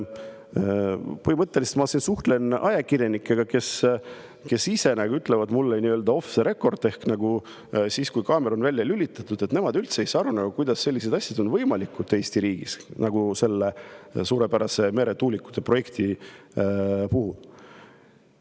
Ma siin suhtlen ajakirjanikega, kes ütlevad mulle nii-öelda off the record ehk siis, kui kaamera on välja lülitatud, põhimõtteliselt nii, et nemad üldse ei saa aru, kuidas on Eesti riigis võimalikud sellised asjad nagu selle suurepärase meretuulikute projekti puhul.